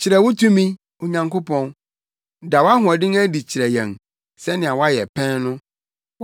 Kyerɛ wo tumi, Onyankopɔn; da wʼahoɔden adi kyerɛ yɛn, sɛnea woayɛ pɛn no.